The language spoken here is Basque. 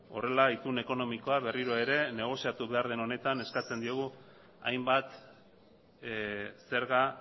horrela itun ekonomikoa berriro ere negoziatu behar den honetan eskatzen diogu hainbat zerga